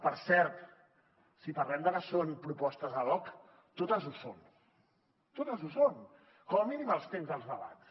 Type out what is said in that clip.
per cert si parlem de que són propostes ad hoc totes ho són totes ho són com a mínim els temps dels debats